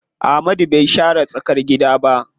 Amadu bai share tsakar gidan ba.